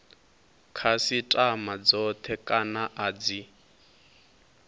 khasitama dzothe kana a dzi